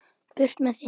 Burt með þig.